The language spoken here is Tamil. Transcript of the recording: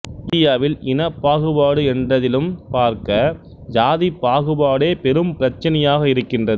இந்தியாவில் இனப் பாகுபாடு என்றதிலும் பார்க்க சாதிப் பாகுபாடே பெரும் பிரச்சினையாக இருக்கின்றது